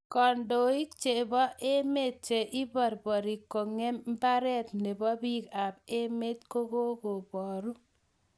kindoniik che bo emee che iberberik kongem mbaree ne bo biik am emet ko kokuboru